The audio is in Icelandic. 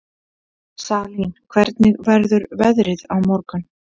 Salín, hvernig verður veðrið á morgun?